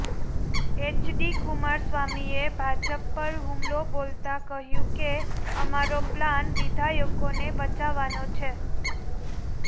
HD કુમારસ્વામીએ ભાજપ પર હુમલો બોલતા કહ્યુ કે અમારો પ્લાન વિધાયકોને બચાવવાનો છે